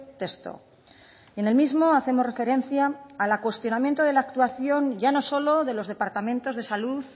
texto en el mismo hacemos referencia al cuestionamiento de la actuación ya no solo de los departamentos de salud